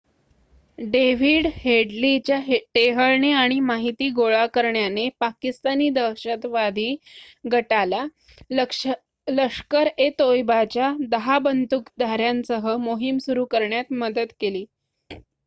David हेडलीच्या टेहळणी आणि माहिती गोळा करण्याने पाकिस्तानी दहशतवादी गटाला लष्कर-ए-तोयबाच्या १० बंदूकधाऱ्यांसह मोहीम सुरू करण्यात मदत केली